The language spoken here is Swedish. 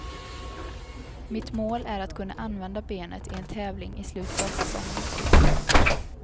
Mitt mål är att kunna använda benet i en tävling i slutet av säsongen.